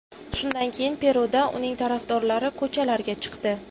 Shundan keyin Peruda uning tarafdorlari ko‘chalarga chiqdi.